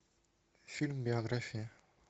фильм биография